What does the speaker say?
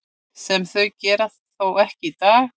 Sem þau gera þó ekki í dag.